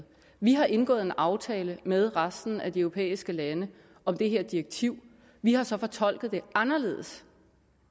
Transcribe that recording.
vi har indgået en aftale med resten af de europæiske lande om det her direktiv vi har så fortolket det anderledes